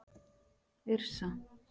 Yrsa